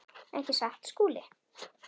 Ekki satt, Skúli?